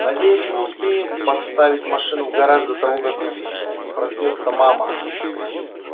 надеюсь мы успеем поставить машину в гараж до того как проснётся мама